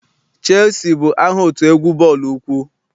Cheelusi bụ aha otu egwu bọọlụ ụkwụ.